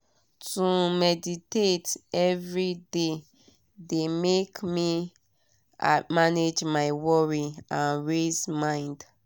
to meditate every dey de make me manage my worry and race mind.